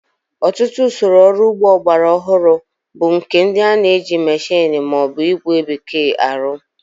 Ọtụtụ usoro ọrụ ugbo ọgbara ọhụrụ bu nke ndi e ji mmeshini ma o bu igwe bekee arụ